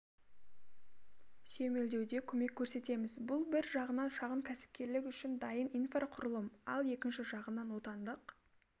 сүйемелдеуде көмек көрсетеміз бұл бір жағынан шағын кәсіпкерлік үшін дайын инфрақұрылым ал екінші жағынан отандық